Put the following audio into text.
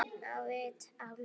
Á vit álfa